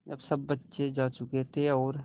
जब सब बच्चे जा चुके थे और